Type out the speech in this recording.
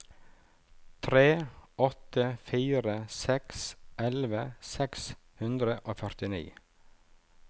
tre åtte fire seks elleve seks hundre og førtini